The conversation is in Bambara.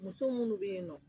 Muso minnu bɛ yen nɔ